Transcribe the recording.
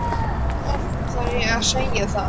Hversu oft þarf ég að segja það?